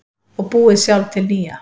Og búið sjálf til nýja.